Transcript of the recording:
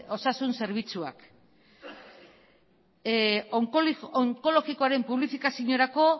osasun zerbitzuak onkologikoaren publifikaziorako